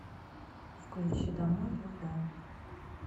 включи домой любэ